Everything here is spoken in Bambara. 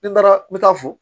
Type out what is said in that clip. Ne taara n bɛ taa fo